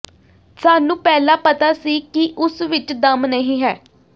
ਸਾਨੂੰ ਪਹਿਲਾਂ ਪਤਾ ਸੀ ਕਿ ਉਸ ਵਿੱਚ ਦਮ ਨਹੀਂ ਹੈ